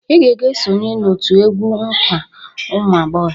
"Ị ga-aga esonye n'òtù egwu nkwa ụmụagbọghọ"